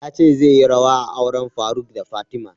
Ya ce zai yi rawa a auren faruk da fatima